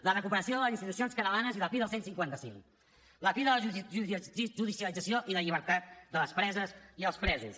la recuperació de les institucions catalanes i la fi del cent i cinquanta cinc la fi de la judicialització i la llibertat de les preses i els presos